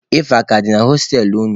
Efe a ka dị na hostelụ unu?